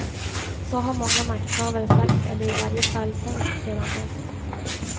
Så har många makthavare sagt eller i varje fall tänkt sedan dess.